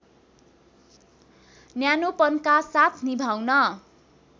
न्यानोपनका साथ निभाउन